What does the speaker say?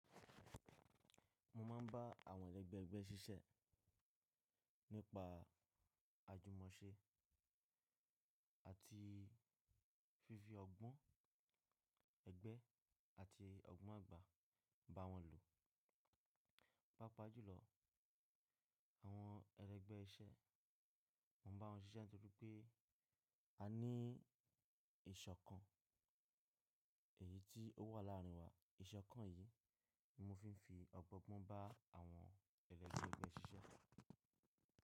Mo máa ń bá àwọn ẹlẹ́gbẹ́ ẹgbẹ́ ṣíṣe nípa àjùmọ̀ṣe àti fífi ọgbọ́n ẹgbẹ́ àti ọgbọ́n àgbà bá wọn lò. Pápá jù lọ, àwọn ẹlẹgbẹ́ iṣẹ́, mo bá wọn ṣíṣe nítorí pé a ní ìṣọ̀kan èyí tí ó wà láàárín wa. Ìṣọ̀kan yìí ni mo fi ń fi ọgbọ́n bá àwọn ẹlẹgbẹ́ ẹgbẹ́ ṣíṣe.